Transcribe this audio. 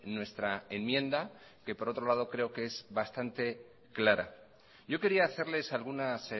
nuestra enmienda que por otro lado creo que es bastante clara yo quería hacerles algunas